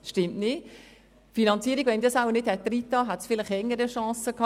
Wenn ich die Finanzierung nicht reingenommen hätte, hätte der Vorstoss wohl eher eine Chance gehabt.